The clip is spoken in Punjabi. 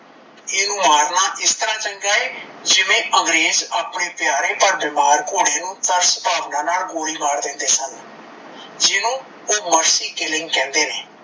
ਇਨੁ ਮਰਨਾ ਇਸ ਤਰਾਂ ਚੰਗਾ ਏ ਜਿਵੇਂ ਅੰਗਰੇਜ ਆਪਣੇ ਪਿਆਰੇ ਪਰ ਬਿਮਾਰ ਘੋੜੇ ਨੂੰ ਤਰਸ ਭਾਵਨਾ ਨਾਲ ਗੋਲੀ ਮਾਰ ਦਿੰਦੇ ਸਨ। ਜਿਨੂੰ ਓਹ mercy killing ਕਹਿੰਦੇ ਨੇ